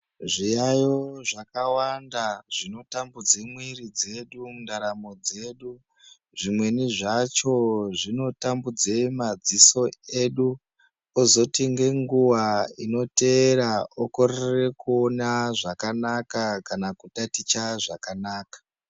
Zviyaiyo zvakawanda zvinotambudze mwiri dzedu mundaramo dzedu, zvimweni zvacho zvinotambudze madziso edu kozoti ngenguwa inoteera okorere kuona zvakanaka kana kutaticha zvakanaka.